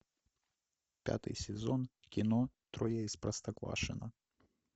пятый сезон кино трое из простоквашино